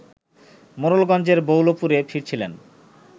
মোড়েলগঞ্জের বৌলপুরে ফিরছিলেন